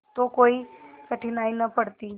तो कोई कठिनाई न पड़ती